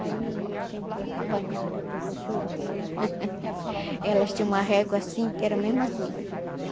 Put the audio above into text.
Aí, a gente apanhava da professora quando... Elas tinham uma régua assim, que era mesmo assim, olha.